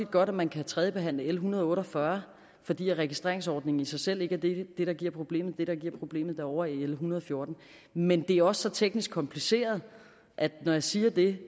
vidt godt at man kan tredjebehandle l en hundrede og otte og fyrre fordi registreringsordningen i sig selv ikke er det der giver problemet det der giver problemet er ovre i l en hundrede og fjorten men det er også så teknisk kompliceret at når jeg siger det